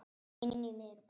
Inní miðri borg.